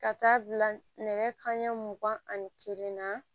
Ka taa bila nɛgɛ kanɲɛ mugan ani kelen na